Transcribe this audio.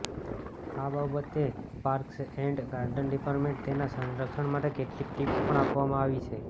આ બાબતે parks and garden ડિપાર્ટમેન્ટને તેના સંરક્ષણ માટે કેટલીક ટિપ્સ પણ આપવામાં આવી છે